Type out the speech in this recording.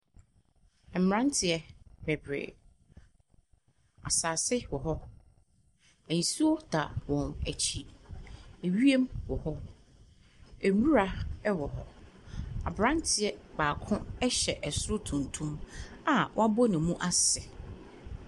Mmeranteɛ bebree, asase wɔ hɔ. Nsuo da wɔn akyi. Ewiem wɔ hɔ. Nwura wɔ hɔ. Aberanteɛ baako hyɛ soro tuntum a wabɔ ne mu ase.